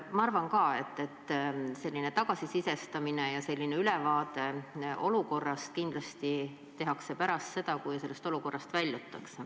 Ma arvan samuti, et selline tagasisidestamine ja olukorrast ülevaate tegemine saavad teoks kindlasti pärast seda, kui olukorrast on väljutud.